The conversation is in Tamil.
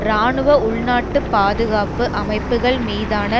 இராணுவ உள்நாட்டுப் பாதுகாப்பு அமைப்புகள் மீதான